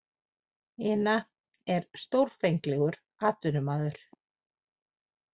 Ina er stórfenglegur atvinnumaður.